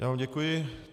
Já vám děkuji.